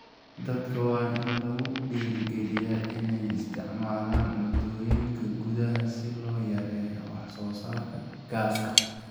Dadka waa in lagu dhiirrigeliyaa inay isticmaalaan cuntooyinka gudaha si loo yareeyo wax soo saarka gaaska.